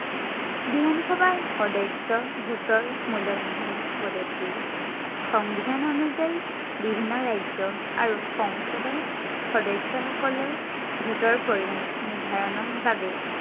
বিধান সভাৰ সদস্য়ই vote ৰ মূল্য় নিৰ্ধাৰন কৰে। সংবিধান অনুযায়ী বিভিন্ন ৰাজ্য় আৰু সংসদৰ সদস্য়সকলৰ vote ৰ পৰিমান নিৰ্ধাৰনৰ বাবে